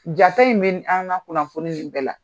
Jako in bɛ an ka kunnafoni ninnu bɛɛ la